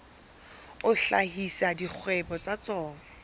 a hlahisa dikgwebo tsa tsona